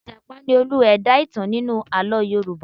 Ì̀jàpá ni olú-ẹ̀dá ìtàn nínú àlọ́ Yorùbá.